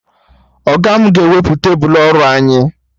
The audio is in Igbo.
Ọga mụ ga-ewepụ tebụl ọrụ anyị